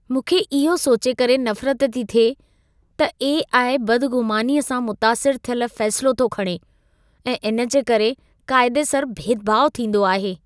मूंखे इहो सोचे करे नफ़रत थी थिए त ए.आई. बदग़ुमानीअ सां मुतासिर थियल फ़ैसिला थो खणे ऐं इन जे करे क़ाइदेसर भेदभाउ थींदो आहे।